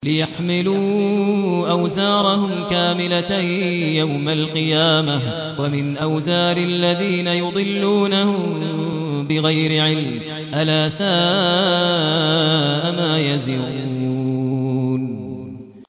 لِيَحْمِلُوا أَوْزَارَهُمْ كَامِلَةً يَوْمَ الْقِيَامَةِ ۙ وَمِنْ أَوْزَارِ الَّذِينَ يُضِلُّونَهُم بِغَيْرِ عِلْمٍ ۗ أَلَا سَاءَ مَا يَزِرُونَ